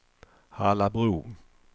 Hallabro